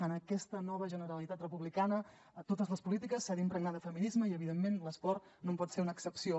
en aquesta nova generalitat republicana totes les polítiques s’han d’impregnar de feminisme i evidentment l’esport no en pot ser una excepció